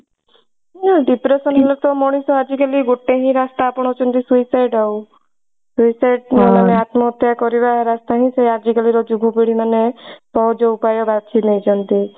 ହଁ depression ହେଲେ ତ ମଣିଷ ଆଜି କାଲି ଗୋଟେ ହିଁ ରାସ୍ତା ଆପଣଉଛନ୍ତି suicide ଆଉ suicide ମାନେ ଆତ୍ମହତ୍ୟା କରିବା ରାସ୍ତା ହିଁ ଆଜି କାଲି ର ଯୁବ ପିଢୀ ମାନେ ସହଜ ଉପାୟ ବାଛି ନେଇଛନ୍ତି।